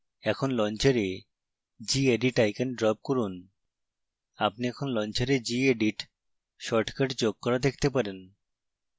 এখন launcher gedit icon drop করুন